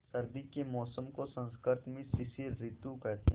सर्दी के मौसम को संस्कृत में शिशिर ॠतु कहते हैं